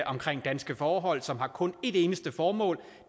omkring danske forhold som har kun et eneste formål